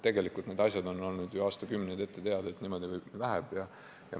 " Tegelikult on ju aastakümneid olnud ette teada, et niimoodi läheb.